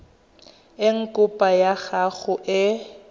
eng kopo ya gago e